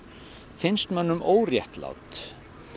finnst mönnum óréttlát